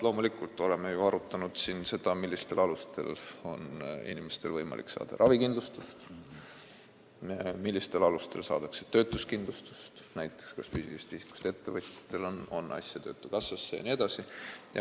Loomulikult oleme me ju arutanud siin seda, millistel alustel on inimestel võimalik saada ravikindlustust, millistel alustel saadakse töötuskindlustust, näiteks kas füüsilisest isikust ettevõtjatel on asja töötukassasse jne.